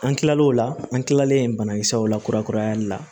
An kilalen o la an kilalen banakisɛw la kurakurayali la